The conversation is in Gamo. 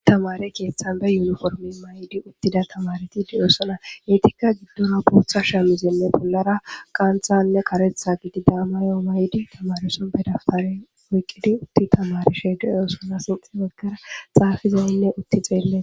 Tamare keeththan be yuniformi may'di uttida tamareti diyoosona eetikka giddora bootha shamizinne pollara qanthanne qaretha gididaamayo may'di tamarison be daftare wiqqidi utti tamarishe diyoosona sinxi woggara xaafizaynne utti xeelle.